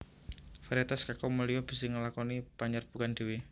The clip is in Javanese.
Variétas kakao mulia bisa nglakoni panyerbukan dhéwé